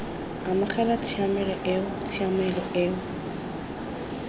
amogela tshiamelo eo tshiamelo eo